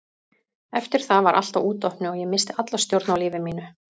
Eftir það var allt á útopnu og ég missti alla stjórn á lífi mínu.